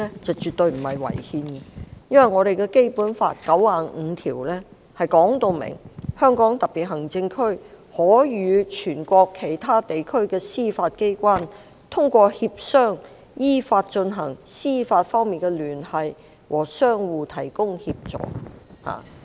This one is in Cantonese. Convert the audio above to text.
是絕對沒有違憲的，因為《基本法》第九十五條訂明："香港特別行政區可與全國其他地區的司法機關通過協商依法進行司法方面的聯繫和相互提供協助"。